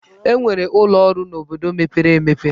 E nwere ụlọ ọrụ n'obodo mepere emepe.